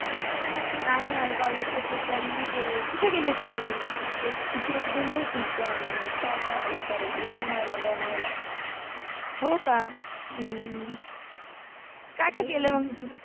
नाहि यार कॉलेज चि ट्रिप ला मि नाहि गेलि, कुठे गेलि होति कॉलेज चि ट्रिप? तिकडेेेच गेलि होति पावण अ सॉरि, लोणावला लोणावला हो का ह्म्म ह काय काय केल मंग